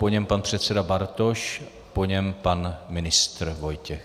Po něm pan předseda Bartoš, po něm pan ministr Vojtěch.